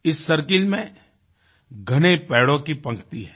इस सर्किल में घने पेड़ों की पंक्ति है